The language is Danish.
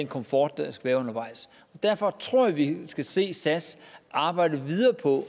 komfort undervejs derfor tror jeg vi skal se sas arbejde videre på